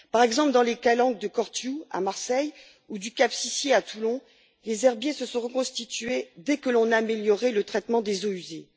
Par exemple, dans les calanques de Cortiou, à Marseille, ou du cap Sissi, à Toulon, les herbiers se sont reconstitués dès que l'on a amélioré le traitement des eaux usées.